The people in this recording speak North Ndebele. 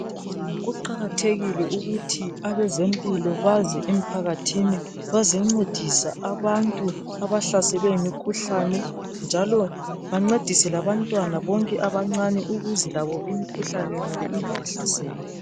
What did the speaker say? kuqkathekile ukuth abezempilo baze emphakathini bazencedisa abantu abahlaselwe yimikhuhlane njalo bancedise labantwana bonke abancane ukuze labo imikhuhlane yonale ingabahlaseli